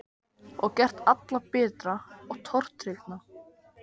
Og gert alla bitra og tortryggna.